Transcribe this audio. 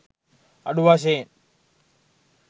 අඩු වශයෙන්